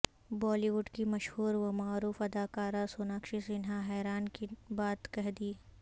بولی وڈ کی مشہور و معروف اداکارہ سوناکشی سنہاحیران کن بات کہہ دی